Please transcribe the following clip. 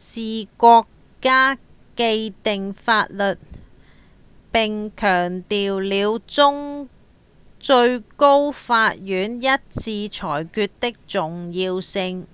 是「國家的既定法律」並強調了最高法院一致裁決的重要性